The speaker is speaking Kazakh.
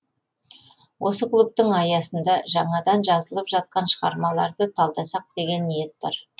осы клубтың аясында жаңадан жазылып жатқан шығармаларды талдасақ деген ниет бар